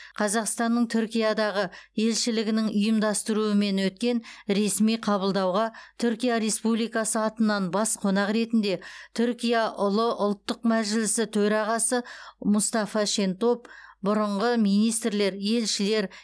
қазақстанның түркиядағы елшілігінің ұйымдастыруымен өткен ресми қабылдауға түркия республикасы атынан бас қонақ ретінде түркия ұлы ұлттық мәжілісі төрағасы мұстафа шентоп бұрынғы министрлер елшілер